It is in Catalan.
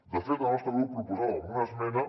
de fet el nostre grup proposàvem una esmena